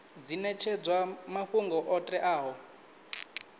dzi netshedzwa mafhungo o teaho